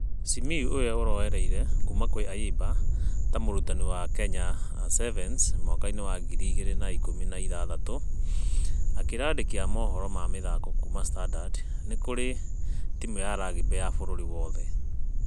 Simiyu ũrĩa ũraorereire kuumakwaayimba ta mũrutani wa kenya 7s mwaka-inĩ wa ngiri igĩrĩ na ikũmi na ithathatũ. Akĩra andĩki a mohoro ma mĩthako kuuma standard , nĩ....kũrĩ ...ya rugby na bũrũri wothe.